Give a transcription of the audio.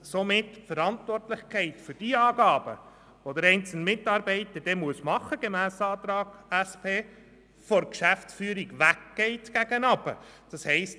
Somit geht die Verantwortlichkeit für die Angaben, die der einzelne Mitarbeiter gemäss dem Antrag der SP-JUSO-PSA-Fraktion machen muss, von der Geschäftsführung weg nach unten.